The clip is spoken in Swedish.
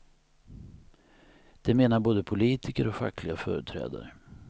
Det menar både politiker och fackliga företrädare.